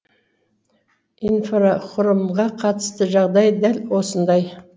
инфрақұрылымға қатысты жағдай дәл осындай